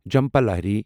Jhumpa Lahiri